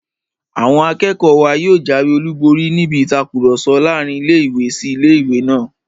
Àwọn akẹ́kọ̀ọ́ wa yóò jáwé olùborí níbi ìtakùrọ̀sọ láàrin ilé-ìwé sí ilé-ìwé náà